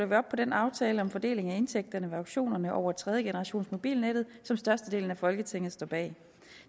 vi op på den aftale om fordeling af indtægterne ved auktionerne over tredjegenerationsmobilnettet som størstedelen af folketinget står bag